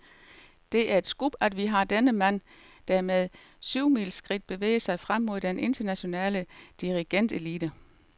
Det er et scoop, at vi har denne mand, der med syvmileskridt bevæger sig frem mod den internationale dirigentelite.